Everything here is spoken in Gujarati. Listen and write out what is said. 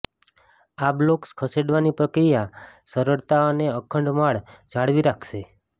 આ બ્લોક્સ ખસેડવાની પ્રક્રિયા સરળતા અને અખંડ માળ જાળવી રાખશે